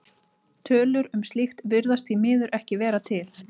Tölur um slíkt virðast því miður ekki vera til.